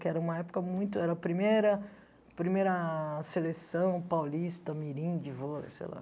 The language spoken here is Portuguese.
Que era uma época muito... Era a primeira primeira seleção paulista, mirim de vôlei, sei lá.